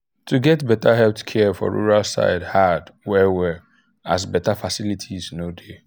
to get better health care for rural side um hard well well as better facilities no dey.